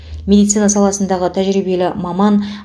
медицина саласындағы тәжірибелі маман